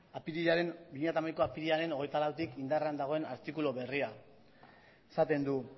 bi mila hamaikako apirilaren hogeita lauetik indarrean dagoen artikulu berria esaten du